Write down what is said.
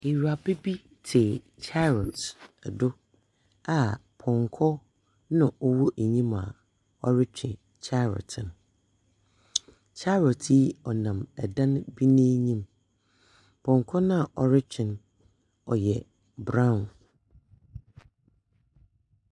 Ewuraba bi tse chariot do a pɔnkɔ na ɔwɔ enyim a ɔretwe chariot no. Chariot yi nam dan bi n’enyim. Pɔnkɔ no a ɔretwe no, ɔyɛ brown.